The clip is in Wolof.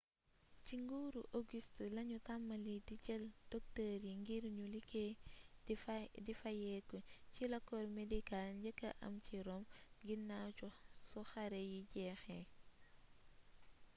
ci nguuru auguste lañu tàmbali di jël docteur yi ngir ñu liggéey di fayeeku ci la corps médical njëkkee am ci rome ginaaw su xare yi jeexee